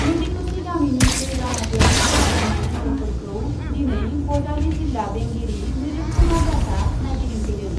मेधिकुसि गामिनि दै बानाजों ख'हा जानाय ओन्सोलफोरखौ दिनै बजालि जिल्ला बेंगिरि मृदुल कुमार दासआ नायगिंदिंफैदों।